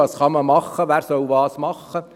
Was kann man tun, und wer soll was tun?